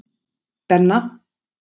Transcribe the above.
Benna